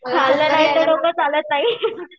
खाल्ल्याशिवाय तर डोकं चालत नाही.